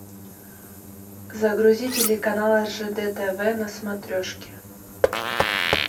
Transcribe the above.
загрузи телеканал ржд тв на смотрешке